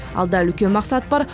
алда үлкен мақсат бар